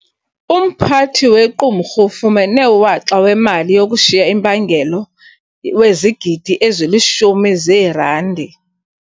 Umphathi wequmrhu ufumene uwaxa wemali yokushiya impangelo wezigidi ezilishumi zeerandi.